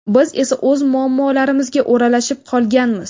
Biz esa o‘z muammolarimizga o‘ralashib qolganmiz.